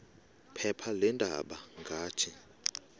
phepha leendaba ngathi